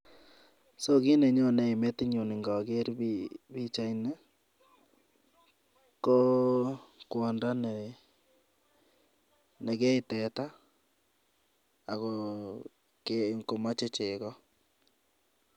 So kit nenyone metinyun indoker pichaini, ko kwondoo nekee teta, ako kokeei komoche chegoo.